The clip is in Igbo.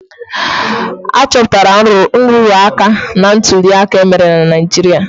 A chọpụtara nrụrụ aka na ntuli aka emere na Naijiria.